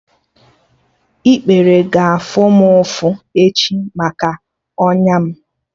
Ikpere ga-afụ m ụfụ echi maka ọnya m